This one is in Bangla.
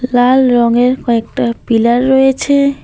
লাল রঙের কয়েকটা পিলার রয়েছে।